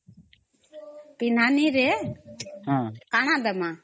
ପେହ୍ନନି ରେ କାନା ଦମା